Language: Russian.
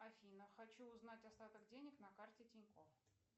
афина хочу узнать остаток денег на карте тиньков